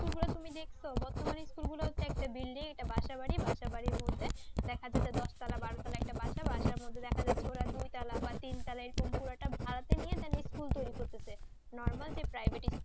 শুভ্র তুমি দেখছো বর্তমানে school গুলো একটা building একটা বাসা বাড়ি বাসা বাড়ি মধ্যে দেখা যেত দশ তলা বারো তলা একটা বাসা বাসার মধ্যে দেখা যাচ্ছে দুই তলা বা তিন তলা এই রকম পুরোটা ভাড়াটা নিয়ে যেন school তৈরি করতেছে normoy যে পাইভেটিস